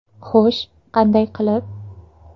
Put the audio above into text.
Xo‘sh, qanday qilib?